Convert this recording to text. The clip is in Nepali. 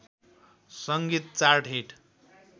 सङ्गीत चार्ट हिट